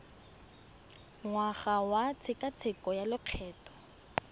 ngwaga wa tshekatsheko ya lokgetho